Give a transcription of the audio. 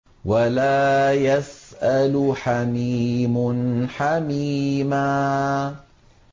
وَلَا يَسْأَلُ حَمِيمٌ حَمِيمًا